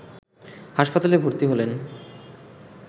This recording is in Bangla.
হাসপাতালে ভর্তি হলেন